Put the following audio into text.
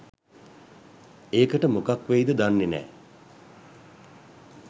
ඒකට මොකක් වෙයිද දන්නේ නෑ.